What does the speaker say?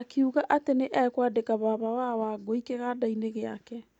Akiuga atĩ nĩ ekwandĩka baba wa Wangũi kĩganda-inĩ gĩake.